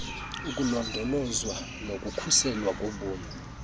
ukulondolozwa nokukhuselwa kobomi